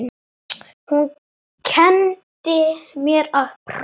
Hún kenndi mér að prjóna.